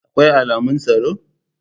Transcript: Akwai alamun tsaro?